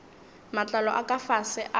matlalo a ka fase a